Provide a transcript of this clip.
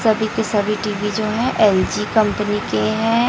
सभी के सभी टी_वी जो है एल_जी कंपनी के हैं।